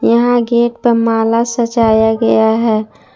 यहां गेट प माला सजाया गया है।